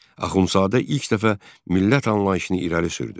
Axundzadə ilk dəfə millət anlayışını irəli sürdü.